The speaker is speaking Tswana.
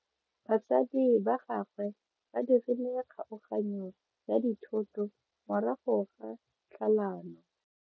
Batsadi ba gagwe ba dirile kgaoganyo ya dithoto morago ga tlhalano.